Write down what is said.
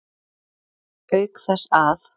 Auk þess að